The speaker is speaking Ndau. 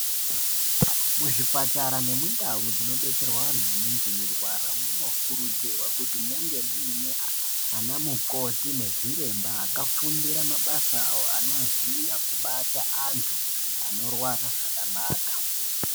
Muzvipatara nemundau ndinobetserwa vanhu anenge eirwara munokurudzirwa kuti munge muine anamukoti nezviremba akafundira mabasa awo anoziya kubata antu anorwara zvakanaka.